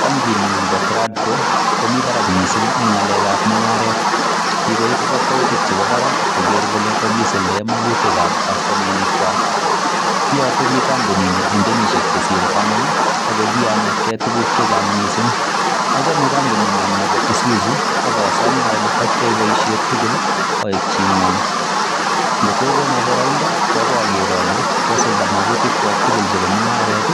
Bankinyu nebo Tradco komi barak mising' eng' ngalekab mung'aret, kikoip kakwoutik chebo barak kogeer kole kakisuldae magutikab kastomainikwak. Kiyote biik kampunini eng' kenyisiek chesiire taman ako kianetkei tuguk chechang' mising', achame kampunikwong' nebo isuzu akasome ale takiyai boisiet tugul aek chingwaong', kotokono baraindo ko akoi ageer ale kaisulda magutikwak tugul chebo mungaret